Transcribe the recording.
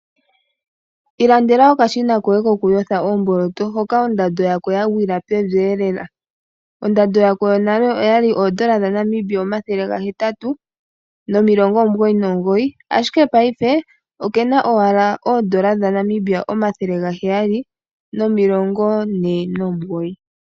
Ilandela okashina koye kokuyotha oomboloto, hoka ondando yako yagwila pevielela. Ondando Yako yonaleN$899, ashike paife okena N$749.